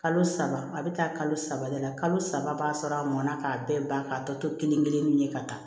Kalo saba a bɛ taa kalo saba de la kalo saba b'a sɔrɔ a mɔna k'a bɛɛ ban k'a tɔ to kelen ye ka taa